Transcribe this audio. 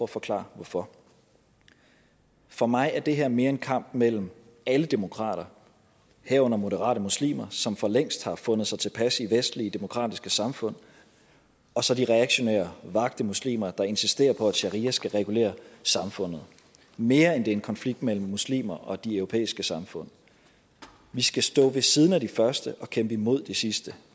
forklare hvorfor for mig er det her mere en kamp mellem alle demokrater herunder moderate muslimer som for længst har fundet sig tilpas i vestlige demokratiske samfund og så de reaktionære vakte muslimer der insisterer på at sharia skal regulere samfundet mere end det er en konflikt mellem muslimer og de europæiske samfund vi skal stå ved siden af de første og kæmpe imod de sidste